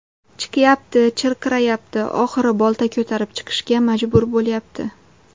Chiqyapti, chirqirayapti, oxiri bolta ko‘tarib chiqishga majbur bo‘lyapti.